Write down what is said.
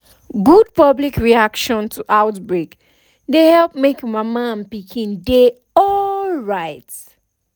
good public reaction to outbreak dey help make mama and pikin dey alright